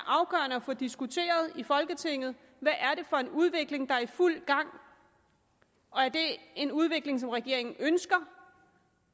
at få diskuteret i folketinget hvad er det for en udvikling der er i fuld gang er det en udvikling som regeringen ønsker